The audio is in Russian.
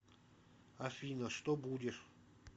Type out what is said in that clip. афина что будешь